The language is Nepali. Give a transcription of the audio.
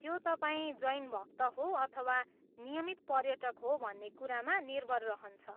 त्यो तपाईँ जैन भक्त हो अथवा नियमित पर्यटक हो भन्ने कुरामा निर्भर रहन्छ।